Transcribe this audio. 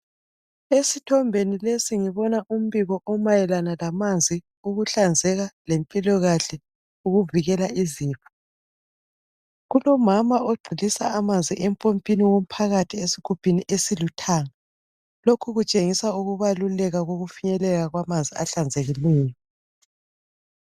esithombeni lesi ngibona umpiko omayelana lamanzi, ukuhlanzeka lempilakahle ukuvikela izifo kulomama ogcilisa amanzi empompini yomphakathi esigubhini esiluthanga lokhu kutshengisa ukubaluleka kokufinyelela kwamanzi ahlambulukileyo.